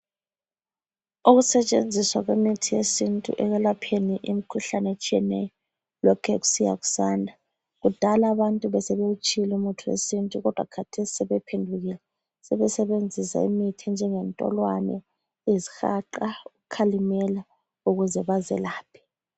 Ukusetshenziswa kwemithi yesintu ekwelapheni imikhuhlane etshiyeneyo lokhe kusiya kusanda, kudala abantu besebewutshiyile umuthi wesintu kodwa khathesi sebephendukile sebesebenzisa imithi enjengentolwane, izihaqa, ukhalimela ukuze bazelaphe.